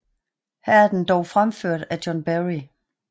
Her er den dog fremført af John Barry